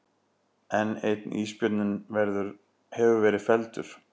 Enn einn ísbjörninn hefur verið felldur